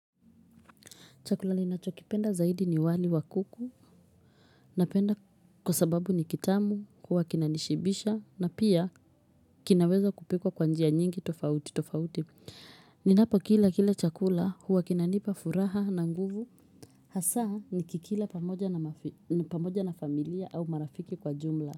Chakula ninachokipenda zaidi ni wali wakuku napenda kwasababu ni kitamu, huwa kina nishibisha na pia kinaweza kupikwa kwa njia nyingi tofauti tofauti. Ninapo kila kile chakula huwa kinanipa furaha na nguvu hasa nikikila pamoja na familia au marafiki kwa jumla.